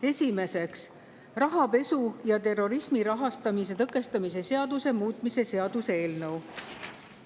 Esimeseks, rahapesu ja terrorismi rahastamise tõkestamise seaduse muutmise seaduse eelnõu.